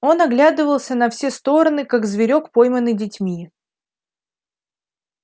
он оглядывался на все стороны как зверок пойманный детьми